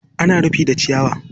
ana rufi da ciyawa.